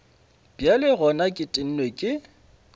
bjale gona ke tennwe ke